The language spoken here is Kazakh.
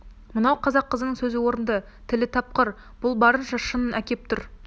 мынау қазақ қызының сөзі орынды тілі тапқыр бұл барынша шынын әкеп тұр